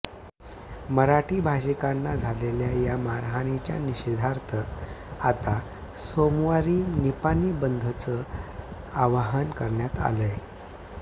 मराठी भाषिकांना झालेल्या या मारहाणीच्या निषेधार्थ आता सोमवारी निपाणी बंदचं आवाहन करण्यात आलंय